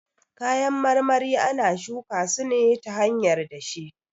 Kayan marmari ana shuka su ne ta hanyar dashe